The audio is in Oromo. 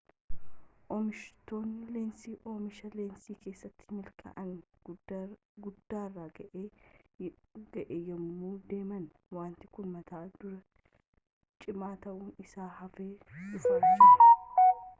oomishtoonni leensii oomisha leensii keessatti milkaa'ina guddaarra ga'aa yemmuu deeman wanti kun mata duree cimaa ta'uun isaa hafaa dhufaa jira